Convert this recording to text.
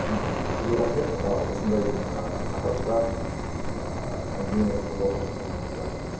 мхм сізге рахмет і осындай ы тақырыпта ыыы әңгіме қозғауға шақырғаныңызға